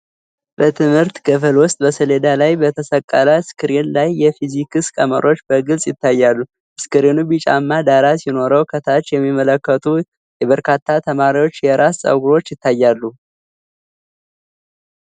በትምህርት ክፍል ውስጥ፣ በሰሌዳ ላይ በተሰቀለ ስክሪን ላይ የፊዚክስ ቀመሮች በግልጽ ይታያሉ። ስክሪኑ ቢጫማ ዳራ ሲኖረው፣ ከታች የሚመለከቱ የበርካታ ተማሪዎች የራስ ፀጉሮች ይታያሉ።